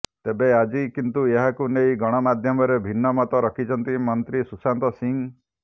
ତେବେ ଆଜି କିନ୍ତୁ ଏହାକୁ ନେଇ ଗଣମାଧ୍ୟମରେ ଭିନ୍ନମତ ରଖିଛନ୍ତି ମନ୍ତ୍ରୀ ସୁଶାନ୍ତ ସିଂ